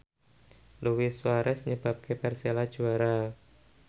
Luis Suarez nyebabke Persela juara